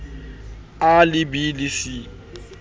a le b le c